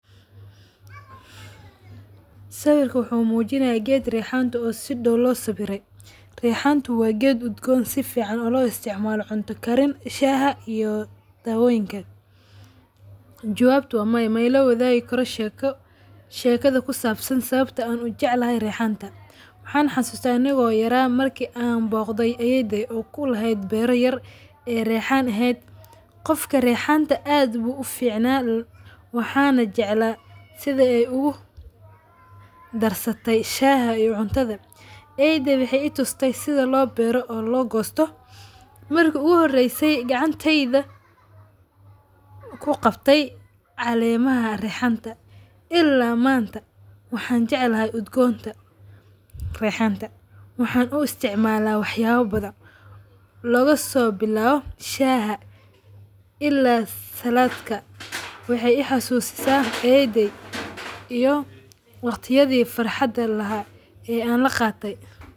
Sawirka wuxu mujinaya geed reexanta oo si daaw loo sabire. Reexanta wa geed udgoon safican oo laisticmaalo cunta kariin shaha iyo dawooyinka kale. Jawabtu waa maya, ma ilawadaagi karo sheeko, sheekada ku saabsan sababto an u jeeclahay reexanta. Waxan xasusta anigo yaraa marki an boogday ayeeyday oo ku leeheed beera yar ee reexan eheed. Qofka reexanta aad ugu ficnaa waxana jeclaa sidii ay ugadarsate shaah iyo cuntadha. Ayeeyday waxay i tuuste sidhi loo beero iyo loogosto. Marki uga horeysay gacanteyda ku gaabtay caleemaha reexanta ila manta waxan jeclahay udgoon ta rexanta. Waxan uu isticmala wax yala badhaan looga sobilwa shaah ila salaadka. waxay i xasusisaa ayeeyday iyo waqtiyadha farxaada laaha ee an lagaatay.